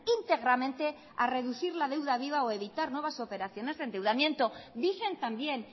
íntegramente a reducir la deuda viva o a evitar nuevas operaciones de endeudamiento dicen también